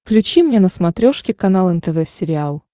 включи мне на смотрешке канал нтв сериал